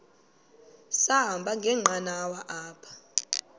sahamba ngenqanawa apha